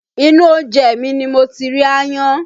Inú oúnjẹ mi ni mo ti rí aáyán